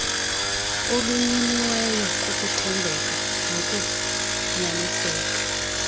olunyiniweyo kukuthembeka nokunyaniseka